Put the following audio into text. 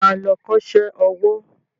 Ṣé o ma lọ kọ́ṣẹ́ owó?